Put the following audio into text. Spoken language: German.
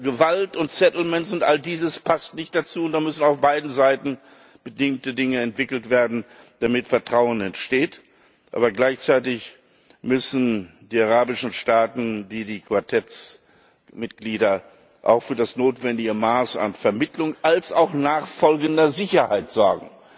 Gewalt und settlement und all dieses passt nicht dazu, und da müssen auf beiden Seiten bestimmte Dinge entwickelt werden, damit Vertrauen entsteht, aber gleichzeitig müssen die arabischen Staaten, wie auch die Mitglieder des Quartetts auch für das notwendige Maß an Vermittlung und nachfolgender Sicherheit sorgen,